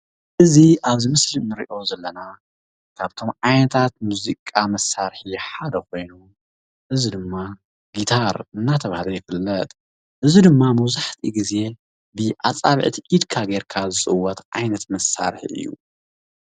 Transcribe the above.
እዚ ኣብዚ ምስሊ እንሪኦ ዘለና ካብቶም ዓይነታት ሙዚቃ መሳርሒ ሓደ ኮይኑ እዚ ድማ ጊታር እንዳተባሃለ ይፍለጥ፡፡ እዚ ድማ መብዛሕትኡ ግዜ ብኣፃብዕቲ ኢድካ ጌርካ ዝፅወት ዓይነት መሳርሒ እዩ፡፡